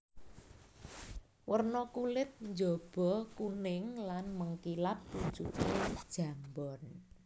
Werna kulit njaba kuning lan mengkilap pucuke jambon